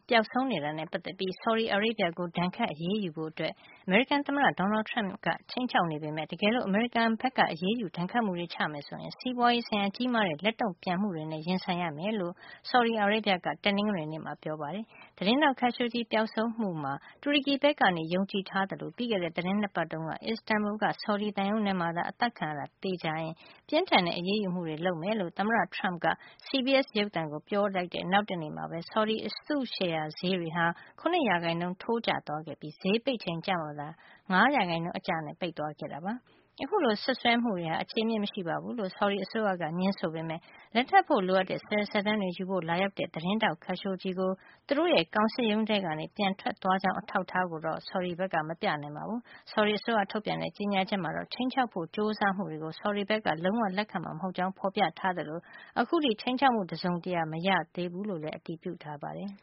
ပျောက်ဆုံးနေတာနဲ့ ပတ်သက်ပြီး ဆော်ဒီအာရေဗျကို ဒဏ်ခတ်အရေးယူဖို့ အမေရိကန်သမ္မတ Donald Trump ကခြိမ်းခြောက်နေပေမယ့် တကယ်လို့ အမေရိကန်က အရေးယူဒဏ်ခတ်မှုတွေ ချမယ်ဆိုရင် စီးပွားရေးဆိုင်ရာ ကြီးမားတဲ့ လက်တုန့်ပြန်မှုတွေနဲ့ ရင်ဆိုင်ရမှာ ဖြစကြောင်း ဆော်ဒီအာရေဗျက တနင်္ဂနွေနေ့မှာ ပြောကြားခဲ့ပါတယ်။ သတင်းထောက် Khashoggi ပျောက်ဆုံးမှုမှာ တူရကီဘက်က ယုံကြည်ထားသလို ပြီးခဲ့တဲ့ သီတင်း နှစ်ပတ်တုန်းက Istanbul က ဆော်ဒီသံရုံးထဲမှာသာ သူအသတ်ခံရတာ သေချာရင် ပြင်းထန်တဲ့ အရေးယူမှုတွေ လုပ်မှာ ဖြစ်ကြောင်း သမ္မတ Trump က CBS ရုပ်သံကို ပြောကြားလိုက်တဲ့ နောက်တနေ့မှာပဲ ဆော်ဒီအစုရှယ်ယာဈေးတွေဟာ ၇ % ထိုးကျသွားခဲ့ပြီး ဈေးပိတ်ချိန်ကျမှသာ ၅ % အကျနဲ့ ဈေးပိတ်သွား ခဲ့တာပါ။ အခုလို စွပ်စွဲမှုတွေဟာ အခြေအမြစ်မရှိဘူးလို့ ဆော်ဒီအစိုးရက ငြင်းဆိုထားပေးမယ့် လက်ထပ်ဖို့ လိုအပ်တဲ့ စာရွက်စာတမ်းတွေ ယူဖို့ လာရောက်ခဲ့တဲ့ သတင်းထောက် Khashoggi သူတို့ ကောင်စစ်ရုံးထဲကနေ ပြန်လည် ထွက်ခွာသွားကြောင်း အထောက်အထားတော့ မပြနိုင်ပါဘူး။ ဆော်ဒီအစိုးရထုတ်ပြန်တဲ့ ကြေညာချက်ထဲမှာတော့ ခြိမ်းခြောက်ဖို့ ကြိုးစားမှုတွေကို ဆော်ဒီဘက်က လုံးဝ လက်ခံမှာ မဟုတ်ကြောင်း ဖော်ပြထားသလို ခြိမ်းခြောက်မှု တစုံတရာမှ မရခဲ့ကြောင်းလည်း အတည်ပြုထားပါတယ်